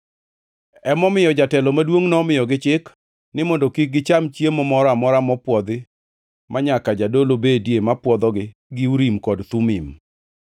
Emomiyo, jatelo maduongʼ nomiyogi chik mondo kik gicham chiemo moro amora mopwodhi manyaka jadolo bedie ma puonjogi gi Urim kod Thumim.